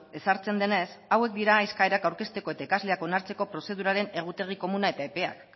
ezartzen denez hauek dira eskaerak aurkezteko eta ikasleak onartzeko prozeduraren egutegi komuna eta epeak